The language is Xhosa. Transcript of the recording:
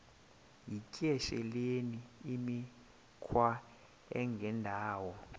yityesheleni imikhwa engendawo